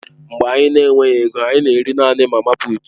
Mgbe anyị na-enweghị ego, anyị na-eri naanị mama puut.